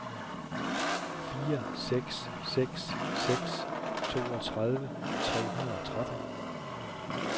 fire seks seks seks toogtredive tre hundrede og tretten